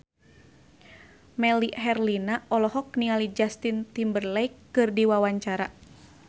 Melly Herlina olohok ningali Justin Timberlake keur diwawancara